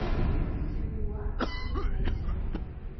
эдуард куликов